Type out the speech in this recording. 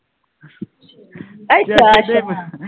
ਅੱਛਾ ਅੱਛਾ